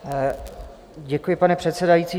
Děkuji, pane předsedající.